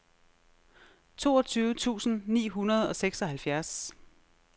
toogtyve tusind ni hundrede og seksoghalvfjerds